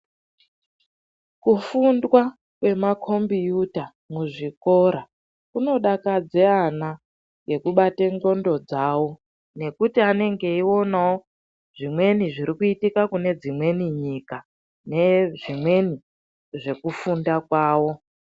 Kufundwa kwemakombiyuta muzvikora kunodakadze ana nekubata ndxondo dzavo nekuti vanenge vachionawo zvirikuitika kune dzimweni nyika nezvimweni zvekufunda kwavo.